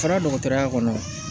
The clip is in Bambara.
Fana dɔgɔtɔrɔya kɔnɔ